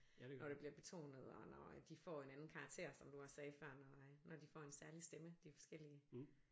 Når det bliver betonet og når de får en anden karakter som du også sagde før når når de får en særlig stemme de forskellige